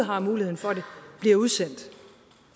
har muligheden for det bliver udsendt